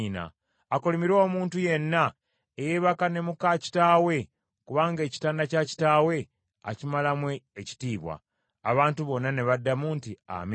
“Akolimirwe omuntu yenna eyeebaka ne muka kitaawe, kubanga ekitanda kya kitaawe akimalamu ekitiibwa.” Abantu bonna ne baddamu nti, “Amiina.”